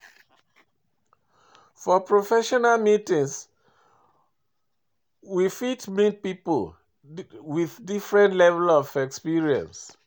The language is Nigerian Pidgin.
For professional meeting we fit meet pipo with different level of experience